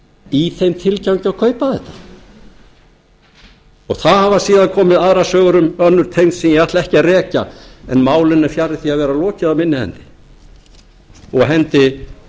í þeim tilgangi að kaupa þetta það hafa síðan komið aðrar sögur um önnur tengsl sem ég ætla ekki að rekja en málinu er fjarri því að vera lokið af minni hendi og hendi